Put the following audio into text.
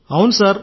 అవును సార్